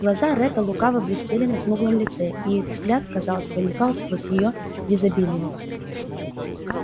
глаза ретта лукаво блестели на смуглом лице и их взгляд казалось проникал сквозь её дезабилье